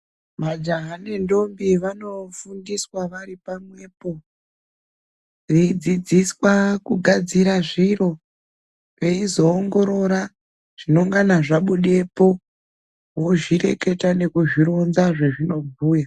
Majaha nentombi vanofundiswa varipamwepo, veyidzidziswa kugadzira zviro, veyizowongorora zvinongana zvabude po, vozvireketa nokuzvironza zvazvinobuya.